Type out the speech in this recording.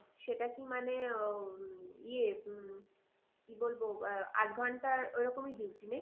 সেটা কি মানে নিয়ে উম কি বলবো আট ঘন্টার ওরকমই duty নাকি?